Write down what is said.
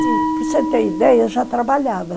Para você ter ideia, eu já trabalhava.